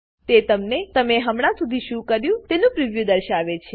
તે તમને તમે હમણાં સુધી શું કર્યું છે તેનું પ્રિવ્યુ દર્શાવે છે